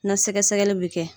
Na sɛgɛsɛgɛli bɛ kɛ.